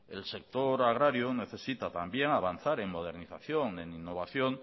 el sector agrario necesita también avanzar en modernización en innovación